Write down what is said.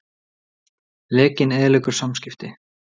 Lekinn eyðileggur samskipti